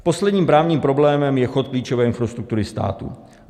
Posledním právním problémem je chod klíčové infrastruktury státu.